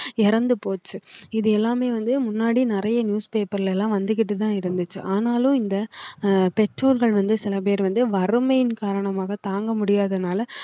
இறந்து போச்சு இது எல்லாமே வந்து முன்னாடி நிறைய newspaper ல எல்லாம் வந்துகிட்டுதான் இருந்துச்சு ஆனாலும் இந்த ஆஹ் பெற்றோர்கள் வந்து சில பேர் வந்து வறுமையின் காரணமாக தாங்க முடியாதனால